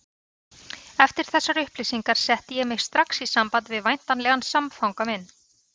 Eftir þessar upplýsingar setti ég mig strax í samband við væntanlegan samfanga minn.